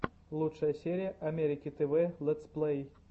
лучшая серия америки тв лэтсплэй